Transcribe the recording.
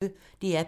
DR P1